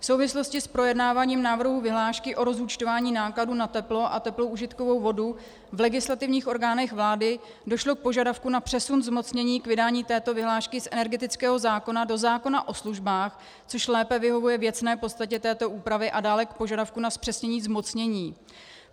V souvislosti s projednáváním návrhu vyhlášky o rozúčtování nákladů na teplo a teplou užitkovou vodu v legislativních orgánech vlády došlo k požadavku na přesun zmocnění k vydání této vyhlášky z energetického zákona do zákona o službách, což lépe vyhovuje věcné podstatě této úpravy, a dále k požadavku na zpřesnění zmocnění.